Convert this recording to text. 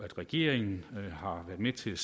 at regeringen har været med til